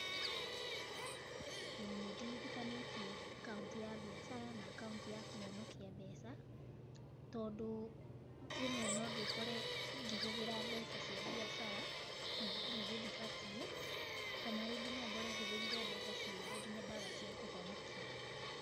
ĩĩ nĩndigithũkanĩtie akaunti ya biacara na akaunti ya kũhonokia mbeca, tondũ rĩmwe no ndĩkore ngĩhũthĩra mbeca cia biacara, na rĩngĩ ndibatiĩ kana rĩngĩ no ngore hũthĩrire mbeca ciothe nginya ndaga cia kũhonokia.